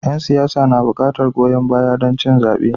Yan siyasa na buƙatar goyon baya don cin zabe.